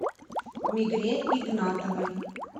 мигре игнатовой